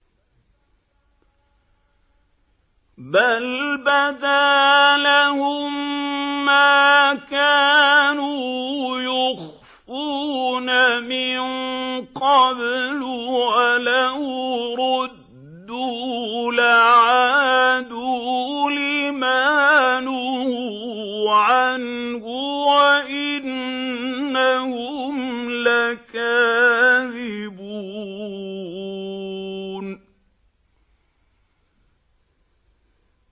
بَلْ بَدَا لَهُم مَّا كَانُوا يُخْفُونَ مِن قَبْلُ ۖ وَلَوْ رُدُّوا لَعَادُوا لِمَا نُهُوا عَنْهُ وَإِنَّهُمْ لَكَاذِبُونَ